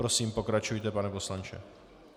Prosím, pokračujte, pane poslanče.